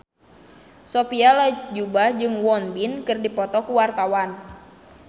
Sophia Latjuba jeung Won Bin keur dipoto ku wartawan